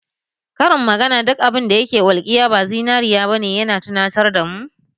Karin magana duk abin da ke walƙiya ba zinariya ba ne ya na tunatar da mu ne